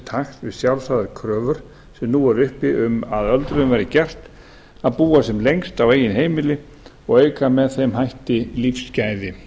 takt við sjálfsagðar kröfur sem nú eru uppi um að öldruðum verði gert kleift að búa sem lengst á eigin heimili og auka með þeim hætti lífsgæði